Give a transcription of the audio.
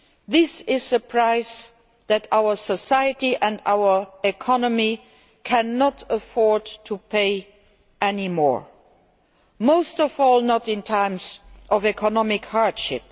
This is a price that our society and our economy cannot afford to pay any more, most of all not in times of economic hardship.